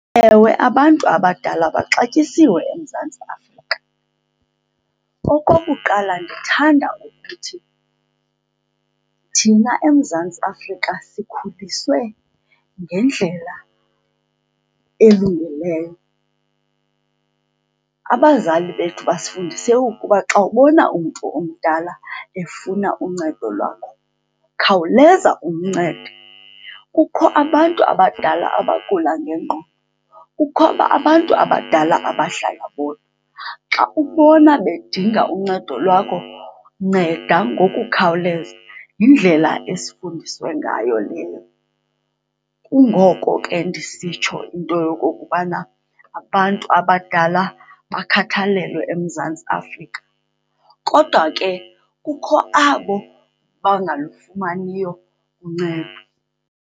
Ewe, abantu abadala baxatyisiwe eMzantsi Afrika. Okokuqala, ndithanda ukuthi thina eMzantsi Afrika sikhuliswe ngendlela elungileyo, abazali bethu basifundise ukuba xa ubona umntu omdala efuna uncedo lwakho khawuleza umncede. Kukho abantu abadala abagula ngengqondo, kukho abantu abadala abahlala bodwa, xa ubona bedinga uncedo lwakho nceda ngokukhawuleza. Yindlela esifundiswe ngayo leyo, kungoko ke ndisitsho into yokokubana abantu abadala bakhathalelwe eMzantsi Afrika. Kodwa ke kukho abo bangalufumaniyo uncedo.